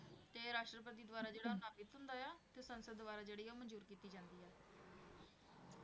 ਤੇ ਰਾਸ਼ਟਰਪਤੀ ਦੁਆਰਾ ਜਿਹੜਾ ਹੁੰਦਾ ਆ ਤੇ ਸਾਂਸਦ ਦੁਆਰਾ ਕੀਤੀ ਜਾਂਦੀ ਹੈ l